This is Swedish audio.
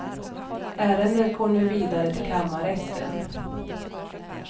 Ärendet går nu vidare till kammarrätten.